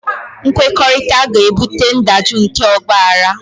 Nkwekọrịta ga-ebute ndajụ nke ọgbaghara